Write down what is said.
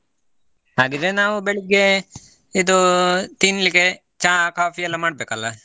ಹಾಗಿದ್ರೆ ನಾವು ಬೆಳ್ಳಿಗೆ ಇದೂ ತಿನ್ಲಿಕ್ಕೆ ಚಾ ಕಾಫಿ ಎಲ್ಲ ಮಾಡಬೇಕಲ್ಲಾ?